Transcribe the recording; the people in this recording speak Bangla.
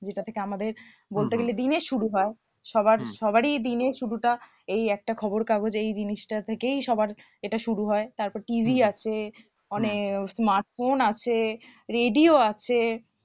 যেটা থেকে আমাদের বলতে হম হম গেলে দিনের শুরু হয় সবার হম সবারই দিনের শুরুটা এই একটা খবর কাগজেই এই জিনিসটা থেকেই সবার এটা শুরু হয় তারপর TV আছে হম অনেক হম smartphone আছে radio আছে